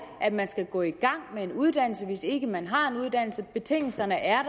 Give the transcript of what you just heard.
at man skal gå i gang med en uddannelse hvis ikke man har en uddannelse betingelserne er